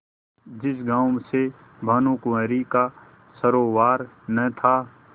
जिस गॉँव से भानुकुँवरि का सरोवार न था